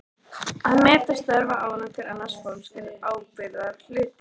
Að meta störf og árangur annars fólks er ábyrgðarhluti.